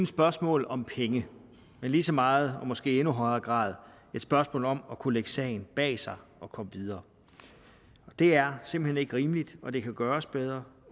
spørgsmål om penge men lige så meget og måske i endnu højere grad et spørgsmål om at kunne lægge sagen bag sig og komme videre og det er simpelt hen ikke rimeligt og det kan gøres bedre